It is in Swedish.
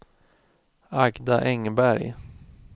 Agda Engberg